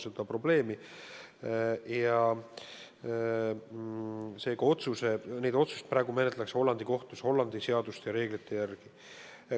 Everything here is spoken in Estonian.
Seega menetletakse neid otsuseid praegu Hollandi kohtus Hollandi seaduste ja reeglite järgi.